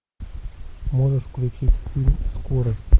можешь включить фильм скорость